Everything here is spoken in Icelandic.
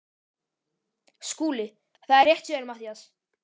SKÚLI: Það er rétt hjá þér Matthías.